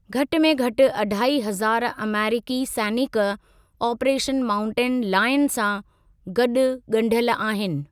घटि में घटि अढाई हज़ारु अमेरिकी सैनिक ऑपरेशन माउंटेन लायन सां गॾु ॻंढ़ियल आहिनि।